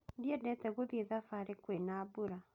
Ndiendete gũthiĩ thabarĩ kwĩna mbura.